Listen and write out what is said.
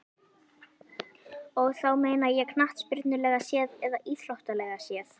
Og þá meina ég knattspyrnulega séð eða íþróttalega séð?